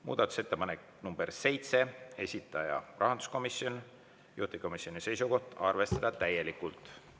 Muudatusettepanek nr 7, esitaja on rahanduskomisjon, juhtivkomisjoni seisukoht on arvestada täielikult.